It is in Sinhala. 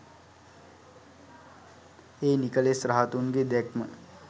ඒ නිකෙලෙස් රහතුන්ගේ දැක්ම